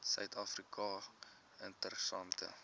suid afrika interessante